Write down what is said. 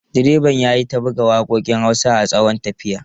Direban ya yi ta buga waƙoƙin Hausa a tsawon tafiyar.